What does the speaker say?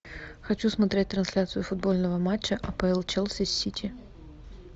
хочу смотреть трансляцию футбольного матча апл челси с сити